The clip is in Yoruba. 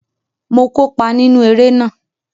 Mo kópa nínú eré náà